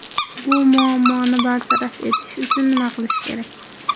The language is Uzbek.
Bu muammoni bartaraf etish uchun nima qilish kerak?